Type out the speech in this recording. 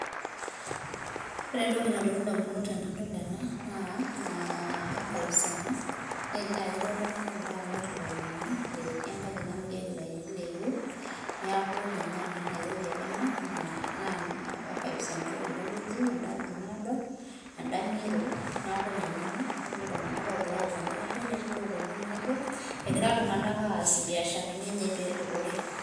Ore entoki nalotu indamunot tenadol ena, naa archives ena, na ketii oltung'ani ogira amir ilainini, etii enkaji namirieki ilainini le Yu, neeku ninye ena Nairobi ena, naa archives enda endawueji endaaji naado, enda ng'iro. Neeku ninye ina natii iltung'anak ogira apuo endaalo netii loponu enaalo, egira iltung'anak aas ibiasharani enye pedupore.